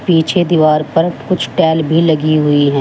पीछे दीवार पर कुछ टैल भी लगी हुई है।